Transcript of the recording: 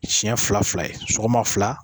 Sɛn fila fila ye sɔgɔma fila